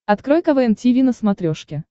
открой квн тиви на смотрешке